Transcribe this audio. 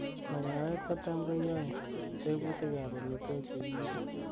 magawet ko tam kuyoe tebutik ab omitwogik chegiibe